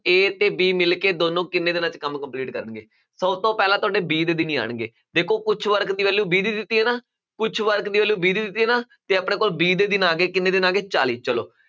a ਤੇ b ਮਿਲ ਕੇ ਦੋਨੋਂ ਕਿੰਨੇ ਦਿਨਾਂ 'ਚ ਕੰਮ complete ਕਰਨਗੇ ਤੋਂ ਪਹਿਲਾਂ ਤੁਹਾਡੇੇ b ਦੇ ਦਿਨ ਹੀ ਆਉਣਗੇ, ਦੇਖੋ ਕੁ਼ਛ work ਦੀ value b ਦੀ ਦਿੱਤੀ ਹੈ ਨਾ ਕੁਛ work ਦੀ value b ਦੀ ਦਿੱਤੀ ਹੈ ਨਾ, ਤੇ ਆਪਣੇ ਕੋਲ b ਦੇ ਦਿਨ ਆ ਗਏ ਕਿੰਨੇ ਦਿਨ ਆ ਗਏ ਚਾਲੀ ਚਲੋ